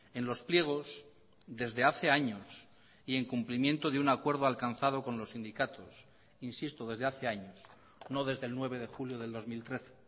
en los pliegos desde hace años y en cumplimiento de un acuerdo alcanzado con los sindicatos insisto desde hace años no desde el nueve de julio del dos mil trece